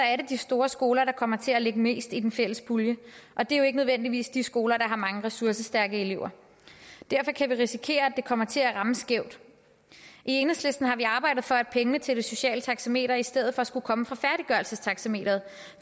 er det de store skoler der kommer til at lægge mest i den fælles pulje og det er jo ikke nødvendigvis de skoler der har mange ressourcestærke elever derfor kan vi risikere at det kommer til at ramme skævt i enhedslisten har vi arbejdet for at pengene til det sociale taxameter i stedet for skulle komme fra færdiggørelsestaxameteret